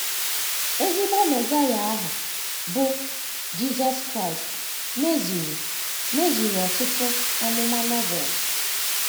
Ezigbo Mesaịa ahụ, bụ́ Jisọs Kraịst, mezuru, mezuru ọtụtụ amụma Novel.